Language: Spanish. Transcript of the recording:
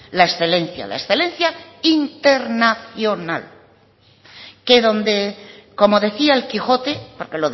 la excelencia la excelencia internacional que donde como decía el quijote porque